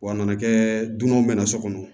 Wa a nana kɛ dunanw bɛ na so kɔnɔ